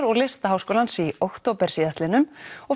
og Listaháskólans í október síðastliðnum og